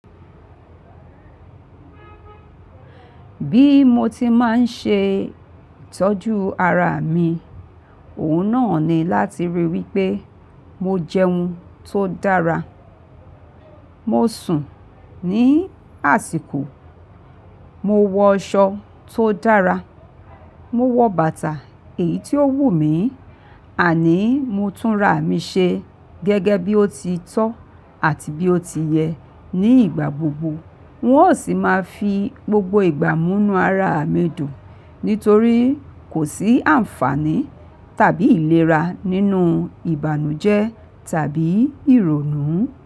Bí mo ti máa ń ṣe ìtọ́jú ara mi, òhun náà ni láti rí wí pé mo jẹun tó dára, mo sùn ní àsìkò, mo wọ aṣọ tó dára, mo wọ bàtà èyí tí ó wù mí, àní mo tún ra mi ṣe gẹ́gẹ́ bí ó ti tọ́ àti bí ó ti yẹ ní ìgbà gbogbo. N ó sì máa fi gbogbo ìgbà mú inú ara mi dùn nítorí kò sí àǹfààní tàbí ìlera nínú ìbànújẹ́ tàbí ìrònú.